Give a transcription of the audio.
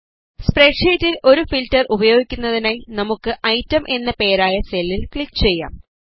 spread ഷീറ്റിൽ ഒരു filter ഉപയോഗിക്കുന്നതിനായി നമുക്ക് ഐറ്റം എന്ന് പേരായ സെല്ലിൽ ക്ലിക് ചെയ്യാം